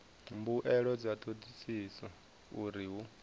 mbuelo dza thodisiso uri hu